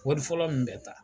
Wari fɔlɔ min bɛ ta